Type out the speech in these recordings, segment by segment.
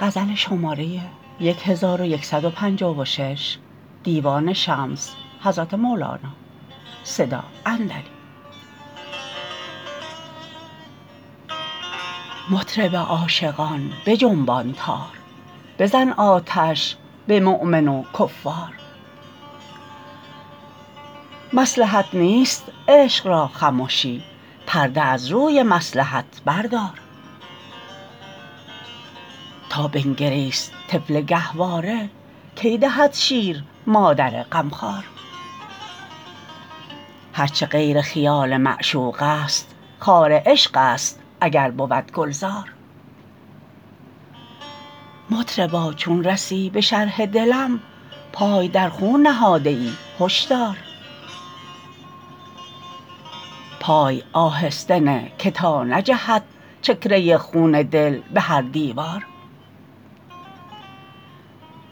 مطرب عاشقان بجنبان تار بزن آتش به مؤمن و کفار مصلحت نیست عشق را خمشی پرده از روی مصلحت بردار تا بنگریست طفل گهواره کی دهد شیر مادر غمخوار هر چه غیر خیال معشوقست خار عشقست اگر بود گلزار مطربا چون رسی به شرح دلم پای در خون نهاده ای هش دار پای آهسته نه که تا نجهد چکه ای خون دل به هر دیوار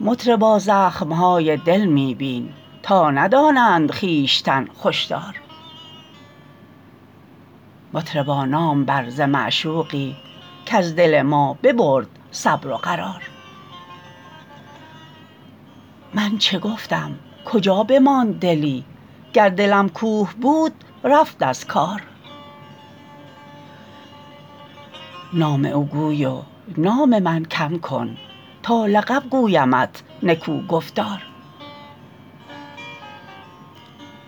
مطربا زخم های دل می بین تا ندانند خویشتن خوش دار مطربا نام بر ز معشوقی کز دل ما ببرد صبر و قرار من چه گفتم کجا بماند دلی گر دلم کوه بود رفت از کار نام او گوی و نام من کم کن تا لقب گویمت نکوگفتار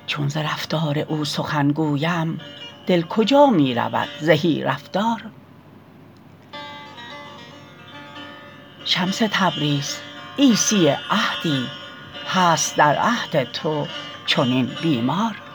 چون ز رفتار او سخن گویم دل کجا می رود زهی رفتار شمس تبریز عیسی عهدی هست در عهد تو چنین بیمار